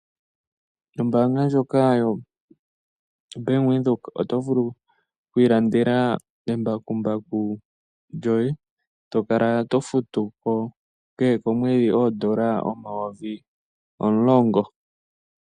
Ombaanga ndjoka yoBank Windhoek oto vulu okwiilandela embakumbaku lyoye to kala to futu ko kehe komwedhi oondola omayovi omulongo.